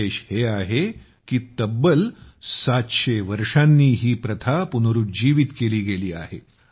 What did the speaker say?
विशेष हे आहे की तब्बल 700 वर्षांनी ही प्रथा पुनरूज्जीवित केली आहे